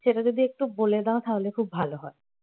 সেটা যদি একটু বলে দাও তাহলে খুব ভালো হয়